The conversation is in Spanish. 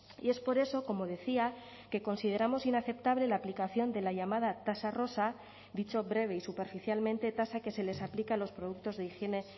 y es por eso como decía que consideramos inaceptable la aplicación de la llamada tasa rosa dicho breve y superficialmente tasa que se les aplica a los productos de higiene